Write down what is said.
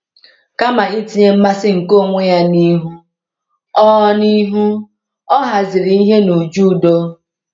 Kama itinye mmasị nke onwe ya n’ihu, ọ n’ihu, ọ haziri ihe n’uju udo.